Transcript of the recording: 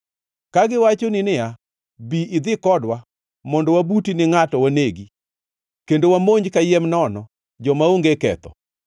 Kagiwachoni niya, “Bi idhi kodwa; mondo wabuti ni ngʼato wanegi, kendo wamonj kayiem nono joma onge ketho;